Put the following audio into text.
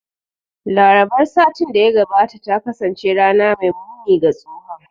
Larabar satin da ya gabata ta kasance rana mai muni ga tsohon